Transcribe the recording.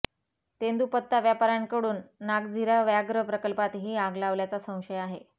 तेंदूपत्ता व्यापाऱ्यांकडून नागझिरा व्याघ्र प्रकल्पात ही आग लावल्याचा संशय आहे